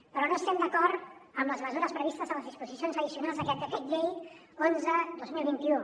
però no estem d’acord amb les mesures previstes a les disposicions addicionals d’aquest decret llei onze dos mil vint u